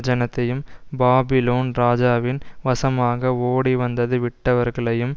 ஜனத்தையும் Babylon ராஜாவின் வசமாக ஓடிவந்ததுவிட்டவர்களையும்